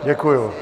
Děkuju.